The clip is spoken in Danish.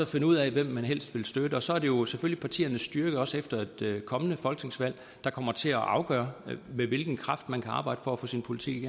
finde ud af hvem man helst vil støtte og så er det jo selvfølgelig partiernes styrke også efter et kommende folketingsvalg der kommer til at afgøre med hvilken kraft man kan arbejde for at få sin politik